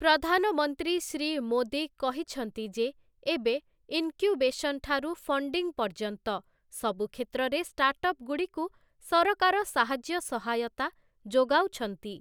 ପ୍ରଧାନମନ୍ତ୍ରୀ ଶ୍ରୀ ମୋଦୀ କହିଛନ୍ତି ଯେ ଏବେ ଇନକ୍ୟୁବେସନ୍ ଠାରୁ ଫଣ୍ଡିଙ୍ଗ୍ ପର୍ଯ୍ୟନ୍ତ ସବୁ କ୍ଷେତ୍ରରେ ଷ୍ଟାର୍ଟଅପ୍‌ଗୁଡ଼ିକୁ ସରକାର ସାହାଯ୍ୟ ସହାୟତା ଯୋଗାଉଛନ୍ତି ।